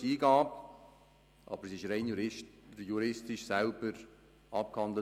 Auch dafür habe ich Verständnis, aber dies wurde rein juristisch abgehandelt.